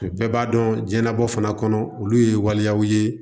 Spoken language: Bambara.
Bɛɛ b'a dɔn jiyɛnlabana fana kɔnɔ olu ye waliyaw ye